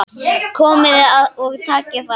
Komiði og takið þá!